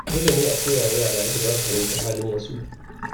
Dole ne a koya wa yara yadda za su fahimci halin wasu.